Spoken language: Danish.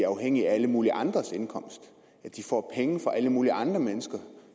afhængige af alle mulige andres indkomst at de får penge fra alle mulige andre mennesker